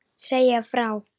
Segja frá.